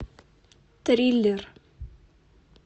триллер